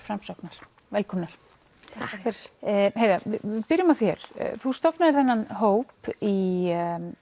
Framsóknar velkomnar takk heiða byrjum á þér þú stofnaðir þennan hóp í